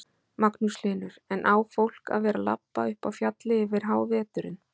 Magnús Hlynur: En á fólk að vera labba upp á fjallið yfir háveturinn?